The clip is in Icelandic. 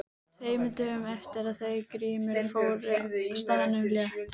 Tveimur dögum eftir að þau Grímur fóru frá staðnum lét